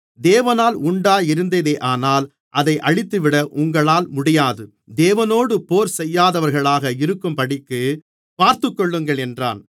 தேவனால் உண்டாயிருந்ததேயானால் அதை அழித்துவிட உங்களால் முடியாது தேவனோடு போர் செய்யாதவர்களாக இருக்கும்படிக்குப் பார்த்துக்கொள்ளுங்கள் என்றான்